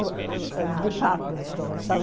uh uh uh department store sabe